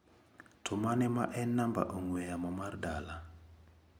To mane ma en namba ong'ue yamo mar dala?